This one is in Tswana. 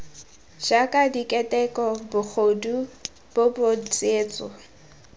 jaaka keteko bogodu bobod tsietso